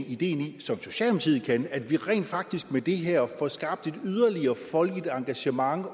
ideen i at vi rent faktisk med det her får skabt et yderligere folkeligt engagement